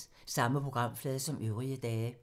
Samme programflade som øvrige dage